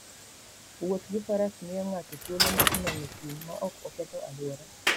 Wuoth gi Faras miyo ng'ato thuolo mar nono thim maok oketho alwora.